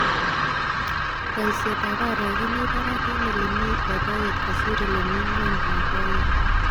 Boisietab aarek komi barak en elemi loboyet kosir ele mi ngwony loboyet.